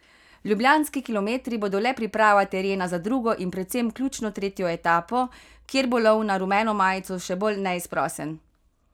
Ljubljanski kilometri bodo le priprava terena za drugo in predvsem ključno tretjo etapo, kjer bo lov na rumeno majico še bolj neizprosen.